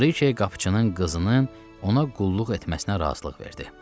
Brike qapıçının qızının ona qulluq etməsinə razılıq verdi.